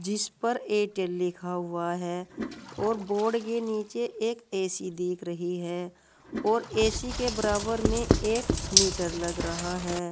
इस पर एटेल लिखा हुआ है और बोर्ड के नीचे एक ए_सी दिख रही है और ए_सी के बराबर में एक मीटर लग रहा है।